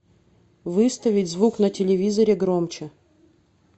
выставить звук на телевизоре громче